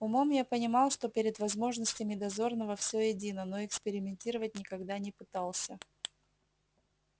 умом я понимал что перед возможностями дозорного всё едино но экспериментировать никогда не пытался